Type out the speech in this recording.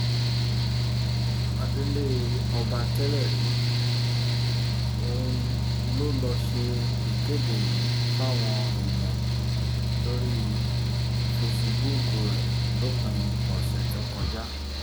adelé-ọba tẹ́lẹ̀ rí ohun ló ló ṣe ìkéde yìí fáwọn èèyàn lórí fesibúùkù rẹ̀ lópin ọ̀sẹ̀ tó kọjá